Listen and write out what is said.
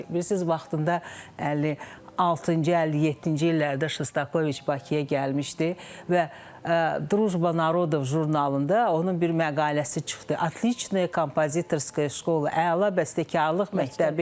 Bilirsiz, vaxtında 56-cı, 57-ci illərdə Şostakoviç Bakıya gəlmişdi və "Drujba Narodov" jurnalında onun bir məqaləsi çıxdı: "Otliçnaya kompozitorskaya şkola" - əla bəstəkarlıq məktəbi.